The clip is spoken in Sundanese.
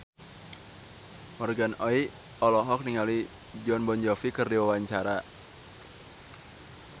Morgan Oey olohok ningali Jon Bon Jovi keur diwawancara